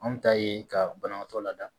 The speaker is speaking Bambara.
Anw ta ye ka banabaatɔ lada